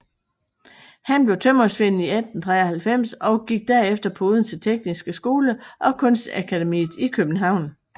Han blev tømrersvend 1893 og gik derefter på Odense Tekniske Skole og Kunstakademiet i København